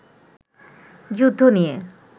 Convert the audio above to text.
যুদ্ধ নিয়ে